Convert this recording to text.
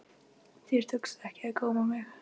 Þér tókst ekki að góma mig.